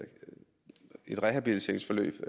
et rehabiliteringsforløb